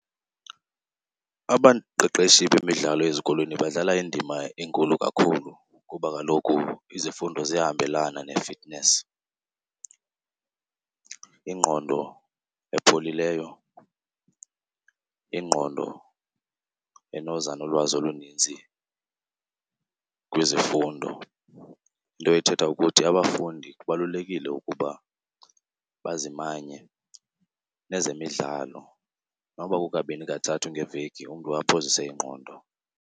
Abaqeqeshi bemidlalo ezikolweni badlala indima enkulu kakhulu kuba kaloku izifundo ziyahambelana ne-fitness. Ingqondo epholileyo, ingqondo enoza nolwazi oluninzi kwizifundo. Into ethetha ukuthi abafundi kubalulekile ukuba bazimanye nezemidlalo nokuba kukabini kathathu ngeveki, umntu aphozise ingqondo.